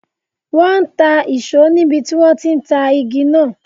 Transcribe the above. Wọn ń ta ìṣó níbi tí wọn ti ń ta igi náà.